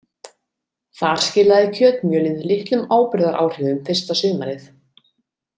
Þar skilaði kjötmjölið litlum áburðaráhrifum fyrsta sumarið.